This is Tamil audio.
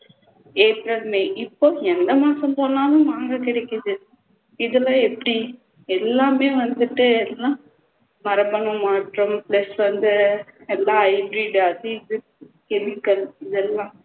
april may இப்போ எந்த மாசம் போனாலும் மாங்காய் கிடைக்குது இதெல்லாம் எப்படி எல்லாமே வந்துட்டு எல்லாம் மரபணு மாற்றம் plus வந்து எல்லாம் hybrid acid chemical இதெல்லாம்